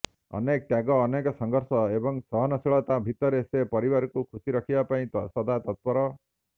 ଅନେକ ତ୍ୟାଗ ଅନେକ ସଂଘର୍ଷ ଏବଂ ସହନଶୀଳତା ଭିତରେ ସେ ପରିବାରକୁ ଖୁସି ରଖିବା ପାଇଁ ସଦାତତ୍ପର